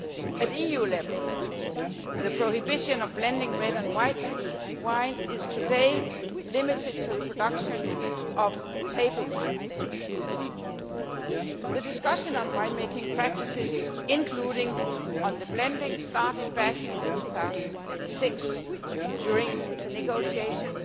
At EU level, the ban on blending red and white wine is today limited to the production of table wine. The discussion on wine making practices, including on blending, started back in 2006 during the negotiations